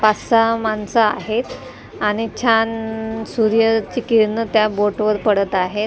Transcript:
पाच सहा माणसं आहेत आणि छान सूर्याची किरणं त्या बोटवर पडत आहेत.